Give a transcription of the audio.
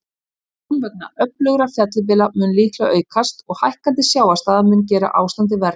Tjón vegna öflugra fellibylja mun líklega aukast, og hækkandi sjávarstaða mun gera ástandið verra.